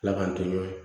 Ala k'an to ye